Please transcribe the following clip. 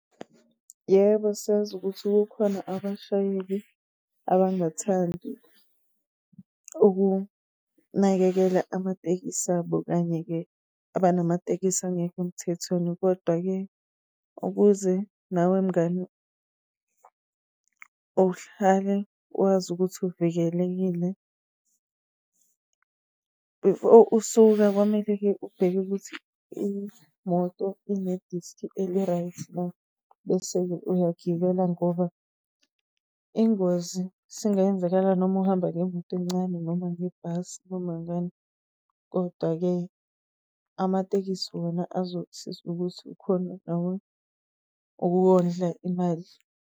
Yebo, siyazi ukuthi kukhona abashayeli abangathandi ukunakekela amatekisi abo, kanye-ke abanamatekisi angekho emthethweni. Kodwa-ke, ukuze nawe mngani uhlale wazi ukuthi uvikelekile, before usuka kwamele-ke ubheke ukuthi imoto ine-disc eli-right na. Bese-ke uyagibela ngoba ingozi isingenzakala noma uhamba ngemoto encane noma ngebhasi noma ngani. Kodwa-ke amatekisi wona azokusiza ukuthi ukhone nawe ukuwondla imali.